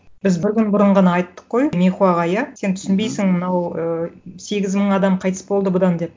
біз бір күн бұрын ғана айттық қой михуаға иә сен түсінбейсің мынау ы сегіз мың адам қайтыс болды бұдан деп